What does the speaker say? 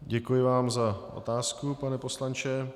Děkuji vám za otázku, pane poslanče.